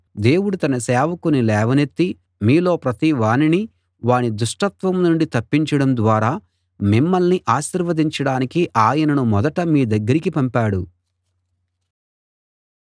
దేవుడు తన సేవకుని లేవనెత్తి మీలో ప్రతివానినీ వాని దుష్టత్వం నుండి తప్పించడం ద్వారా మిమ్మల్ని ఆశీర్వదించడానికి ఆయనను మొదట మీ దగ్గరికి పంపాడు